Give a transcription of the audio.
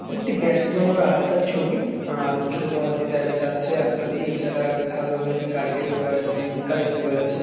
এটি একটি ব্যস্ততম রাস্তার ছবি। আ ছোট হাতি দা যাচ্ছে রাস্তা দিয়ে। এছাড়া সাদা রঙের একটি গাড়ি দেখতে পাওয়া যাচ্ছে একটি রিস্কা দেখতে পাওয়া যাচ্ছে।